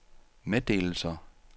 meddelelser